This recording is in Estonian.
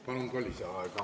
Palun ka lisaaega!